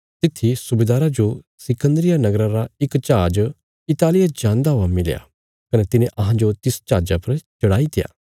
तित्थी सुबेदारा जो सिकन्दरिया नगरा रा इक जहाज इतालिया जान्दा हुआ मिलया कने तिने अहांजो तिस जहाजा पर चढ़ाईत्या